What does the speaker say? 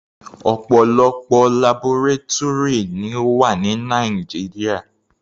Ọ̀pọ̀lọpọ̀ labọrátúrì ni ó wà ní Nàìjíríà.